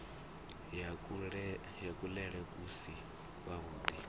ya kuḽele ku si kwavhuḓi